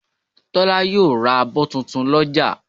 Tọ́lá yóò ra abọ́ tuntun lọ́jà